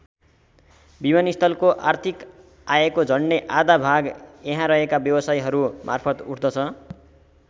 विमानस्थलको आर्थिक आयको झण्डै आधा भाग यहाँ रहेका व्यवसायहरू मार्फत उठ्दछ।